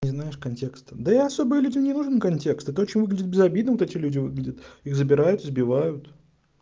не знаешь контекста да я особо людям и не нужен контекст это очень выглядит безобидным вот эти люди выглядят их забирают избивают